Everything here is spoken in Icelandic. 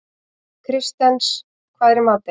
Kristens, hvað er í matinn?